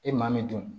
E maa min dun